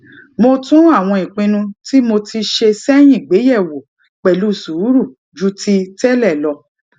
mo tún àwọn ìpinnu tí mo ti ṣe séyìn gbé yè wò pèlú sùúrù ju ti télè lọ